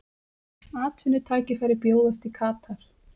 Atvinnutækifæri bjóðast í Katar